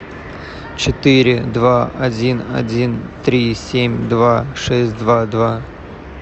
четыре два один один три семь два шесть два два